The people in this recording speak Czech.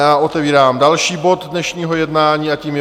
Já otevírám další bod dnešního jednání a tím je